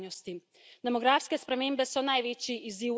Boljšo prihodnost brez ogrožanja sedanjosti.